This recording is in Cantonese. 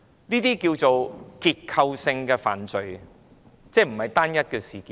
這可稱為結構性犯法，即不是單一事件。